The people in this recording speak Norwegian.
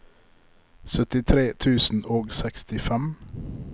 syttitre tusen og sekstifem